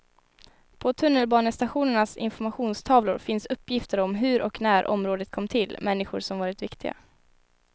På tunnelbanestationernas informationstavlor finns uppgifter om hur och när området kom till, människor som varit viktiga.